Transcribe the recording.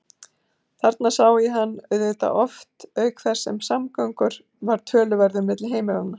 Þar sá ég hann auðvitað oft auk þess sem samgangur var töluverður milli heimilanna.